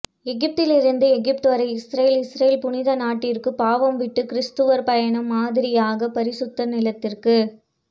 எகிப்திலிருந்து எகிப்து வரை Israel Israel புனித நாட்டிற்கு பாவம் விட்டு கிரிஸ்துவர் பயணம் மாதிரியாக பரிசுத்த நிலத்திற்கு